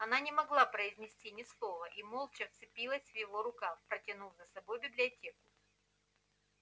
она не могла произнести ни слова и молча вцепилась в его рукав потянув за собой в библиотеку